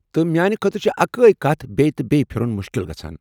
تہٕ میانہ خٲطرٕ چھےٚ اکٕے کتھ بییہِ تہٕ بییہِ پھِرُن مُشکِل گژھان۔